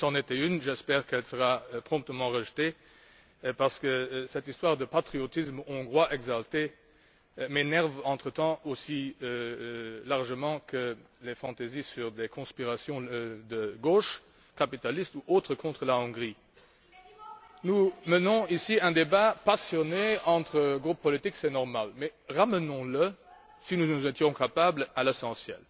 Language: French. Si c'en était une, j'espère qu'elle sera promptement rejetée, parce que cette histoire de patriotisme hongrois exalté m'énerve maintenant aussi largement que les fantaisies sur des conspirations de gauche, capitalistes ou autres, contre la Hongrie. Nous menons ici un débat passionné entre groupes politiques, c'est normal. Mais ramenons le si nous en sommes capables à l'essentiel.